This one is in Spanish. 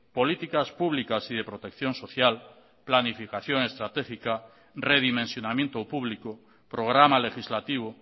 políticas públicas y de protección social planificación estratégica redimensionamiento público programa legislativo